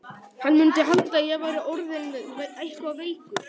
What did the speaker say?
Hann mundi halda að ég væri orðinn eitthvað veikur.